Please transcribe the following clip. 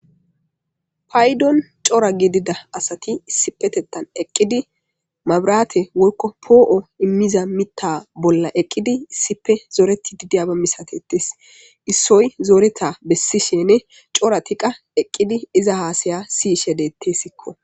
Payidon cora gidida asat issipetethan eqid mabirate woyiko po7o imiza mita bolla eqidi issipe zoretid diyaba misatetes isoy zoreta besishin coratika eqid iza hasaya siyishe detesiko.